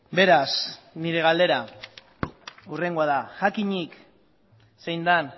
beraz nire galdera hurrengoa da jakinik zein den